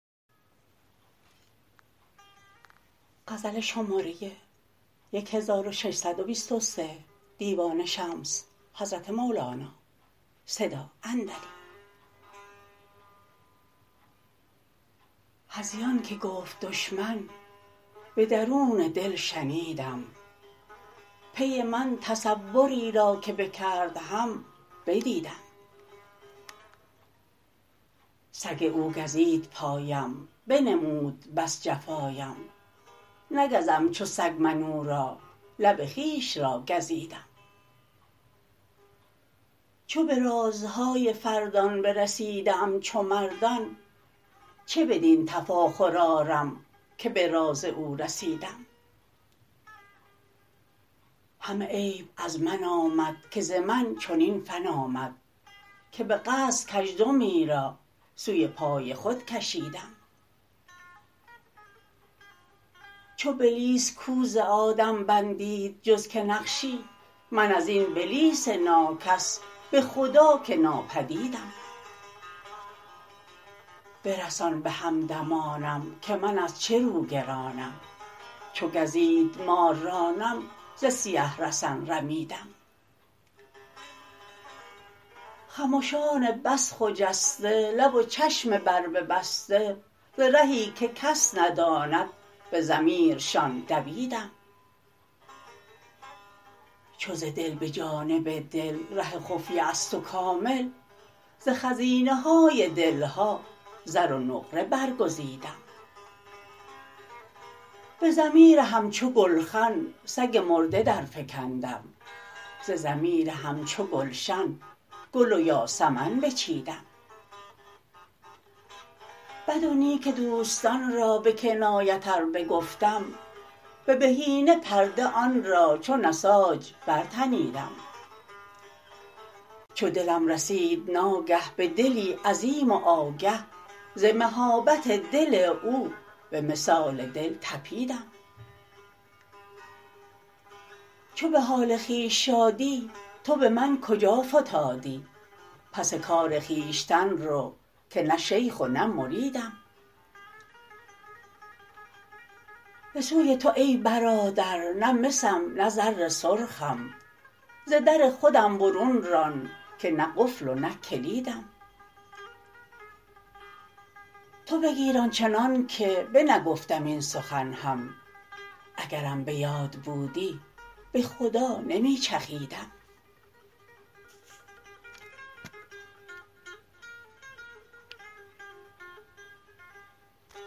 هذیان که گفت دشمن به درون دل شنیدم پی من تصوری را که بکرد هم بدیدم سگ او گزید پایم بنمود بس جفایم نگزم چو سگ من او را لب خویش را گزیدم چو به رازهای فردان برسیده ام چو مردان چه بدین تفاخر آرم که به راز او رسیدم همه عیب از من آمد که ز من چنین فن آمد که به قصد کزدمی را سوی پای خود کشیدم چو بلیس کو ز آدم بندید جز که نقشی من از این بلیس ناکس به خدا که نابدیدم برسان به همدمانم که من از چه روگرانم چو گزید مار رانم ز سیه رسن رمیدم خمشان بس خجسته لب و چشم برببسته ز رهی که کس نداند به ضمیرشان دویدم چو ز دل به جانب دل ره خفیه است و کامل ز خزینه های دل ها زر و نقره برگزیدم به ضمیر همچو گلخن سگ مرده درفکندم ز ضمیر همچو گلشن گل و یاسمن بچیدم بد و نیک دوستان را به کنایت ار بگفتم به بهینه پرده آن را چو نساج برتنیدم چو دلم رسید ناگه به دلی عظیم و آگه ز مهابت دل او به مثال دل طپیدم چو به حال خویش شادی تو به من کجا فتادی پس کار خویشتن رو که نه شیخ و نه مریدم به سوی تو ای برادر نه مسم نه زر سرخم ز در خودم برون ران که نه قفل و نه کلیدم تو بگیر آن چنانک بنگفتم این سخن هم اگرم به یاد بودی به خدا نمی چخیدم